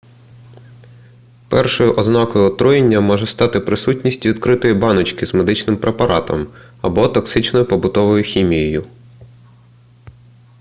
першою ознакою отруєння може стати присутність відкритої баночки з медичним препаратом або токсичною побутовою хімією